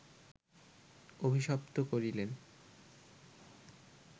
অভিশপ্ত করিলেন